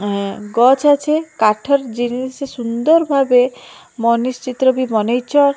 ଉଁ ଗଛ୍ ଅଛି। କାଠର ଜିନିଷ ସୁନ୍ଦର୍ ଭାବେ ମନିଶ ଚିତ୍ର ବି ବନେଇଚ।